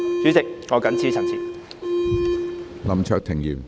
主席，我謹此陳辭。